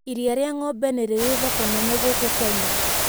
Iria rĩa ng'ombe nĩ rĩrĩ thoko nene gũkũ kenya.